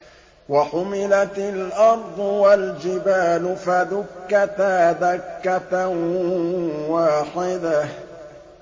وَحُمِلَتِ الْأَرْضُ وَالْجِبَالُ فَدُكَّتَا دَكَّةً وَاحِدَةً